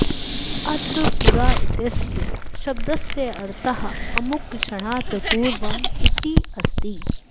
अत्र पुरा इत्यस्य शब्दस्य अर्थः अमुकक्षणात् पूर्वम् इति अस्ति